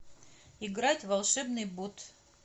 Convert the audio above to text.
играть в волшебный бот